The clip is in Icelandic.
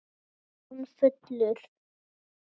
Var hann fullur?